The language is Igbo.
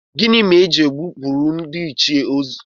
Gịnị mere na a na-egbupụrụ ndịichie anụ n'akwamozu ha?